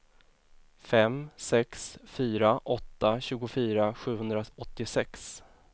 fem sex fyra åtta tjugofyra sjuhundraåttiosex